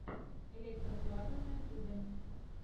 электро плата на ютьюбе